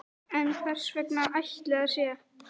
En hvers vegna ætli það sé?